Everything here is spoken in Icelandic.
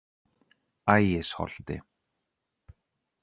Ægisholti